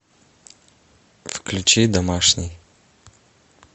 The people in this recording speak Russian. включи домашний